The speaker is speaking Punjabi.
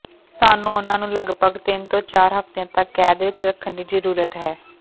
ਸਾਨੂੰ ਉਨ੍ਹਾਂ ਨੂੰ ਲਗਪਗ ਤਿੰਨ ਤੋਂ ਚਾਰ ਹਫ਼ਤਿਆਂ ਤੱਕ ਕੈਦ ਵਿਚ ਰੱਖਣ ਦੀ ਜ਼ਰੂਰਤ ਹੈ